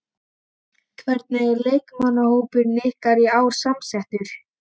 Hvernig er leikmannahópurinn ykkar í ár samsettur?